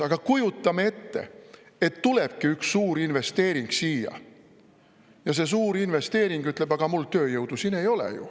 Aga kujutame ette, et tulebki üks suur investeering siia ja see suur investeering ütleb: "Aga mul tööjõudu siin ei ole ju.